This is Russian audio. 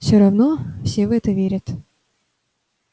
все равно все в это верят